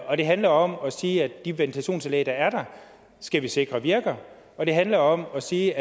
og det handler om at sige at de ventilationsanlæg der er der skal vi sikre virker og det handler om at sige